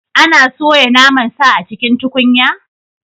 Ana soya naman sa a cikin tukunya?